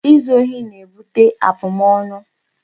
Izu ohi na-ebute abụmọnụ.